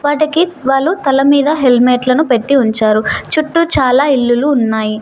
వాటికి తల మీద హెల్మెట్లను పెట్టి ఉంచారు చుట్టూ చాలా ఇల్లులు ఉన్నాయి.